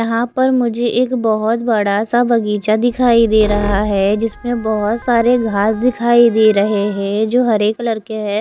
यहां पर मुझे एक बहोत बड़ा सा बगीचा दिखाई दे रहा है जिसमें बहोत सारे घास दिखाई दे रहे हैं जो हरे कलर के हैं।